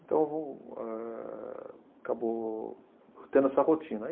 Então, eh acabou tendo essa rotina.